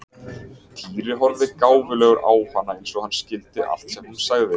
Týri horfði gáfulegur á hana eins og hann skildi allt sem hún sagði.